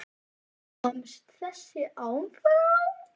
Komst þessi áfram?